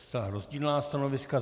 Zcela rozdílná stanoviska.